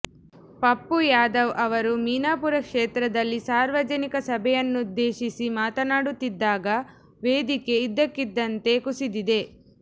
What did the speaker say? ಪಪ್ಪು ಯಾದವ್ ಅವರು ಮಿನಾಪುರ ಕ್ಷೇತ್ರದಲ್ಲಿ ಸಾರ್ವಜನಿಕ ಸಭೆಯನ್ನುದ್ದೇಶಿಸಿ ಮಾತನಾಡುತ್ತಿದ್ದಾಗ ವೇದಿಕೆ ಇದ್ದಕ್ಕಿದ್ದಂತೆ ಕುಸಿದಿದೆ